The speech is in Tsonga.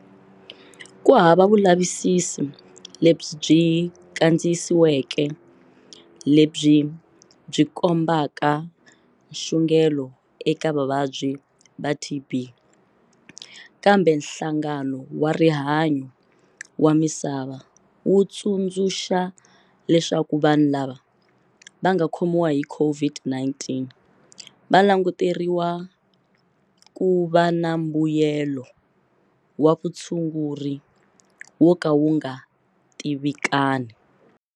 Ku hava vulavisisi lebyi byi kandziyisiweke lebyi byi kombaka nxungeto eka vavabyi va TB, kambe Nhlangano wa Rihanyo wa Misava wu tsundzuxa leswaku vanhu lava nga khomiwa hi COVID-19 va languteriwa ku va na mbuyelo wa vutshunguri wo ka wu nga tivikani.